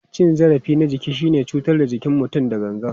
Cin zarafi na jiki shine cutar da jikin mutum da gangan.